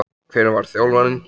Hver var þjálfarinn?